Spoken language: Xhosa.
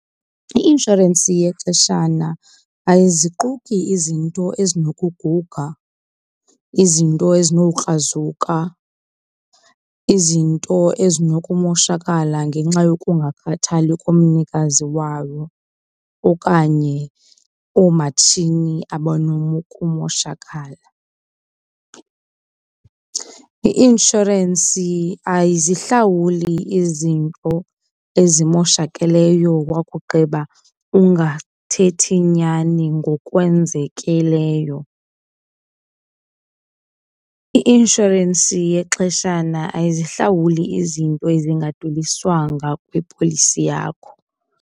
I-inshorensi yexeshana ayiziquka izinto ezinokuguga, izinto ezinokrazuka, izinto ezinokumoshakala ngenxa yokungakhathali kumnikazi wayo okanye oomatshini abanokumoshakala. I-inshorensi ayizihlawuli izinto ezimoshakeleyo wakugqiba ungathethi nyani ngokwenzekileyo. I-inshorensi yexeshana ayizihlawuli izinto ezingadweliswanga kwipholisi yakho.